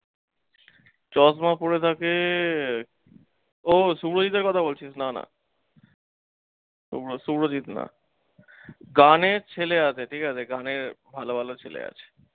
চশমা পরে থাকে, ও সুভজিতের কথা বলছিস, না না। সুভ্র সুভ্রজিত না। গানের ছেলে আছে ঠিকাছে, গানের ভালো ভালো ছেলে আছে।